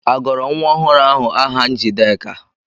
Agọrọ nwa ọhụrụ ahụ Njideka?